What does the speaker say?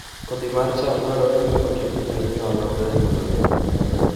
Kodhi mar cham dwarore ni oti gi manyiwa maber mondo oyud nyak maber